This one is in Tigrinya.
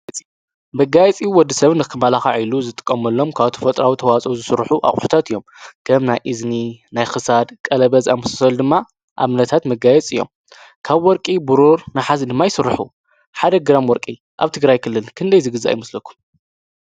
ብጋየፂ ወዲ ሰብን ኽመላኻዕ ኢሉ ዝጥቀመሎም ካብቲ ፈጥራዊ ተዋፆ ዝሥሩኁ ኣቝሕታት እዮም ገም ናይ እዝኒ ናይክሳድ ቀለበዝ ኣምስሰል ድማ ኣምነታት ምጋየጽ እዮም ካብ ወርቂ ብሩር ንሓዝ ድማ ኣይሥርኁ ሓደግራም ወርቂ ኣብቲ ግራይክልን ክንደይ ዝግዛ ኣይምስለኩም?